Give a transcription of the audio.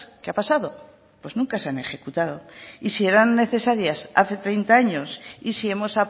qué ha pasado pues nunca se han ejecutado y si eran necesarias hace treinta años y si hemos